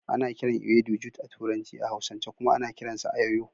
Ana kiran ewedu jute a turanci,a hausance kuma ana kiran sa ayoyo.